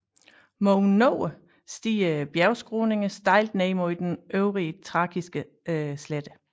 Mod nord stiger bjergskråningerne stejlt ned mod den øvre trakiske slette